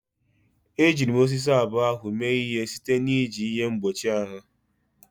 Ejiri m osisi abụọ ahụ mee ihe site na iji ihe mgbochi ahụ.